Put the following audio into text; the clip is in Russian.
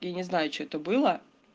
я не знаю что это было